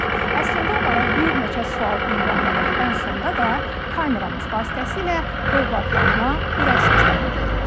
Əslində onlara bir neçə sual ünvanladıq, ən sonda da kameramız vasitəsilə övladlarına ürək sözlərini dedilər.